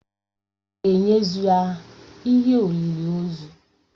Aga ēnyezu ya ihe olịlị ozu?